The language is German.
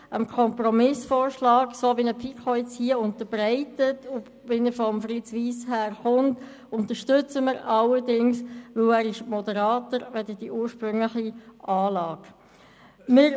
Dem Kompromissvorschlag, wie ihn die FiKo jetzt unterbreitet und wie er von Fritz Wyss daherkommt, unterstützen wir allerdings, weil er moderater als die ursprüngliche Anlage ist.